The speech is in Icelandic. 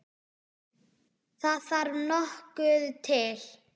Það þarf nokkuð til!